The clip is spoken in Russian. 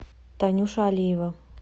танюша алиева